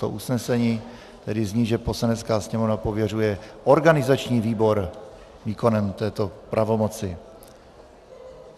To usnesení tedy zní, že Poslanecká sněmovna pověřuje organizační výbor výkonem této pravomoci.